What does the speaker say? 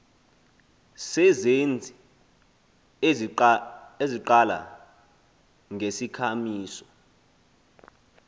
sezenzi eziqala ngesikhamiso